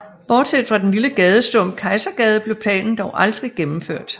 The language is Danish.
Bortset fra den lille gadestump Kejsergade blev planen dog aldrig gennemført